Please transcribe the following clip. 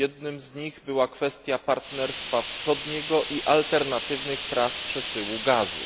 Jednym z nich była kwestia partnerstwa wschodniego i alternatywnych tras przesyłu gazu.